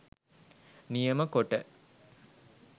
නියම කොට,